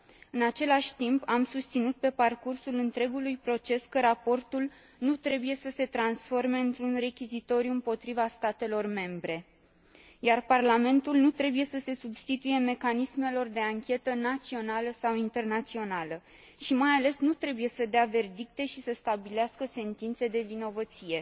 În același timp, am susținut pe parcursul întregului proces că raportul nu trebuie să se transforme într un rechizitoriu împotriva statelor membre, iar Parlamentul nu trebuie să se substituie mecanismelor de anchetă națională sau internațională și, mai ales, nu trebuie să dea verdicte și să stabilească sentințe de vinovăție.